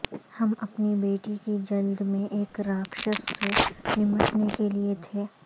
ہم اپنی بیٹی کی جلد میں ایک راکشس سے نمٹنے کے لئے تھے